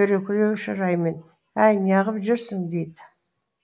дөрекілеу шыраймен әй неғып жүрсің дейді